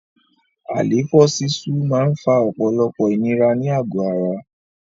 Àléfọ́ sísú máa ń fa ọ̀pọ̀lọpọ̀ ìnira ní àgò ara.